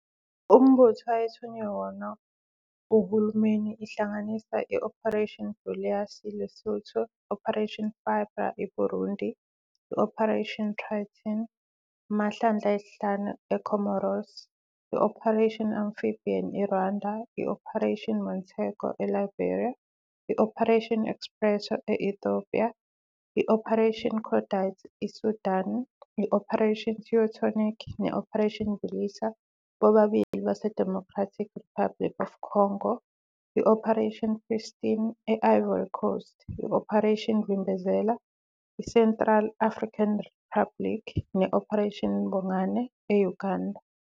uMbutho ayethunywe yona nguhulumeni ihlanganisa- I-Operation Boleas, iLesotho, i-Operation Fibre, iBurundi, i-Operation Triton, amahlandla ayisihlanu eComoros, i-Operation Amphibian, iRwanda, i-Operation Montego, eLiberia, i-Operation Espresso, i- Ethiopia, I-Operation Cordite, iSudan, i-Operation Teutonic ne-Operation Bulisa, bobabili baseDemocratic Republic of the Congo, i-Operation Pristine, e-Ivory Coast, i- Operation Vimbezela, i- Central African Republic, ne-Operation Bongane, e-Uganda,